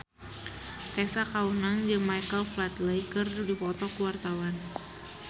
Tessa Kaunang jeung Michael Flatley keur dipoto ku wartawan